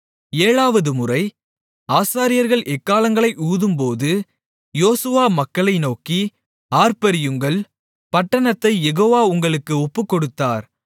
ஏழாவதுமுறை ஆசாரியர்கள் எக்காளங்களை ஊதும்போது யோசுவா மக்களை நோக்கி ஆர்ப்பரியுங்கள் பட்டணத்தைக் யெகோவா உங்களுக்கு ஒப்புக்கொடுத்தார்